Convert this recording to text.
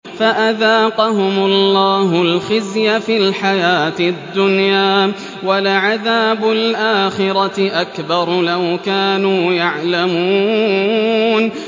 فَأَذَاقَهُمُ اللَّهُ الْخِزْيَ فِي الْحَيَاةِ الدُّنْيَا ۖ وَلَعَذَابُ الْآخِرَةِ أَكْبَرُ ۚ لَوْ كَانُوا يَعْلَمُونَ